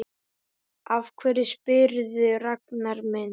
Af hverju spyrðu, Ragnar minn?